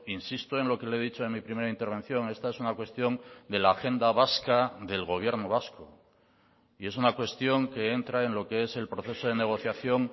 insisto en lo que le he dicho en mi primera intervención esta es una cuestión de la agenda vasca del gobierno vasco y es una cuestión que entra en lo que es el proceso de negociación